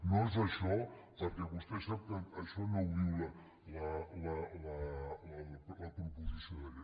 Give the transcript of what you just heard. no és això perquè vostè sap que això no ho diu la proposició de llei